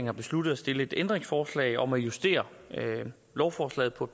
har besluttet at stille et ændringsforslag om at justere lovforslaget på